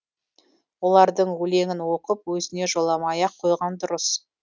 олардың өлеңін оқып өзіне жоламай ақ қойған дұрыс